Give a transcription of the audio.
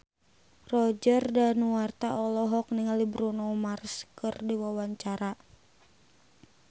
Roger Danuarta olohok ningali Bruno Mars keur diwawancara